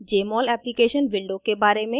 * jmol application window के बारे में